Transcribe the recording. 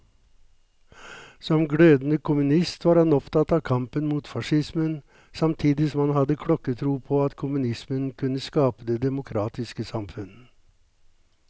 Som glødende kommunist var han opptatt av kampen mot facismen, samtidig som han hadde klokketro på at kommunismen kunne skape det demokratiske samfunn.